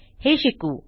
हे शिकू